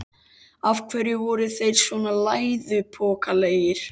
Af hverju voru þeir svona læðupokalegir?